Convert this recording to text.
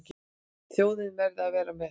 Þjóðin verði að vera með.